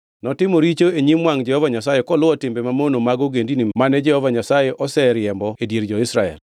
Notimo richo e nyim wangʼ Jehova Nyasaye koluwo timbe mamono mag ogendini mane Jehova Nyasaye oseriembo e dier jo-Israel.